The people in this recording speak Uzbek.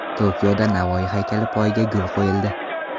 Tokioda Navoiy haykali poyiga gul qo‘yildi.